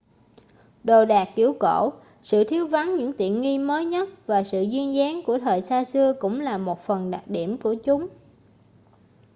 đồ đạc kiểu cổ sự thiếu vắng những tiện nghi mới nhất và sự duyên dáng của thời xa xưa cũng là một phần đặc điểm của chúng